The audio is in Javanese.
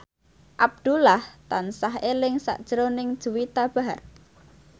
Abdullah tansah eling sakjroning Juwita Bahar